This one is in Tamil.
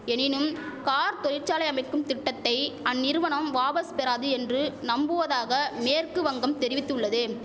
எனினும் கார் தொழிற்சாலை அமைக்கும் திட்டத்தை அந்நிறுவனம் வாபஸ் பெறாது என்று நம்புவதாக மேற்கு வங்கம் தெரிவித்துள்ளது